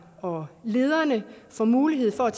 og lederne får mulighed for at